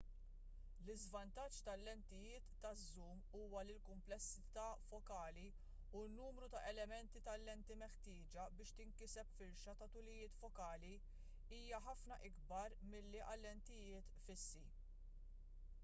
l-iżvantaġġ tal-lentijiet taż-żum huwa li l-kumplessità fokali u n-numru ta' elementi tal-lenti meħtieġa biex tinkiseb firxa ta' tulijiet fokali hija ħafna ikbar milli għal lentijiet fissi